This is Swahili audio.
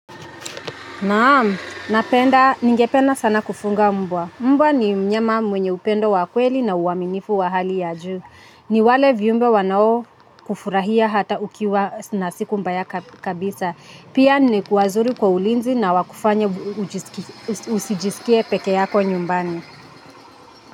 Naamu, napenda, ningependa sana kufunga mbwa. Mbwa ni mnyama mwenye upendo wa kweli na uwaminifu wa hali ya juu. Ni wale viumbe wanao kufurahia hata ukiwa na siku mbaya kabisa. Pia ni ku, wazuri kwa ulinzi na wakufanya usijisikie peke yako nyumbani.